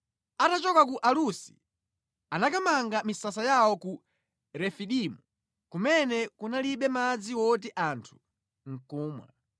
Atachoka ku Alusi anakamanga misasa yawo ku Refidimu, kumene kunalibe madzi woti anthu ndi kumwa.